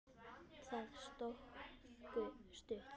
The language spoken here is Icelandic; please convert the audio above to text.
Það stóð stutt.